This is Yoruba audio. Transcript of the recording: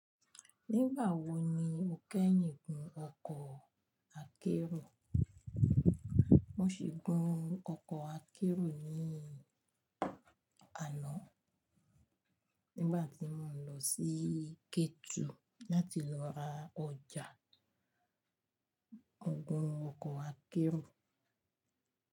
Nígbà wo ni o kẹ́yìn gun ọkọ̀ akérò? Mo sì gun ọkọ̀ akérò ní àná nígbà tí mò ń lọ sí Ketu láti lọ ra ọjà. Mo gun ọkọ̀ akérò.